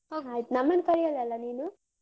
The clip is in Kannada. ಹೋಗ್ ನಮ್ಮನ್ ಕರ್ಯಲ್ಲಲ್ಲ ನೀನು?